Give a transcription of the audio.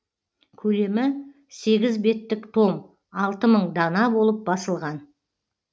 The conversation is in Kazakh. көлемі сегіз беттік том алты мың дана болып басылған